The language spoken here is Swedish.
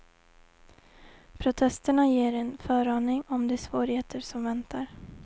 Protesterna ger en föraning om de svårigheter som väntar.